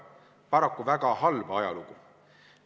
Paraku väga halba ajalugu.